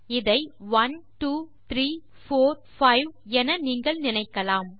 இதை one two three four five என நீங்கள் நினைக்கலாம்